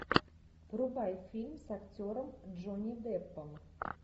врубай фильм с актером джонни деппом